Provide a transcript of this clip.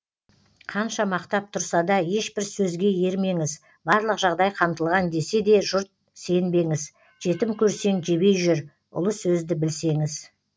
қанша мақтап тұрса да ешбір сөзге ермеңіз барлық жағдай қамтылған десе де жұрт сенбеңіз жетім көрсең жебей жүр ұлы сөзді білсеңіз